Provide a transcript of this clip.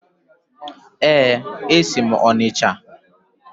Ee, esi m Onicha.